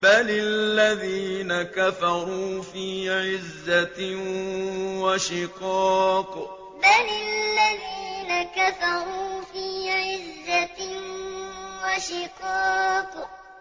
بَلِ الَّذِينَ كَفَرُوا فِي عِزَّةٍ وَشِقَاقٍ بَلِ الَّذِينَ كَفَرُوا فِي عِزَّةٍ وَشِقَاقٍ